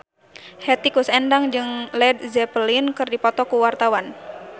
Hetty Koes Endang jeung Led Zeppelin keur dipoto ku wartawan